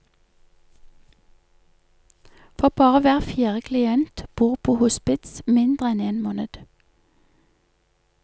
For bare hver fjerde klient bor på hospits mindre enn én måned.